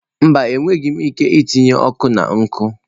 Mba, enweghị m ike itinye ọkụ na nkụ.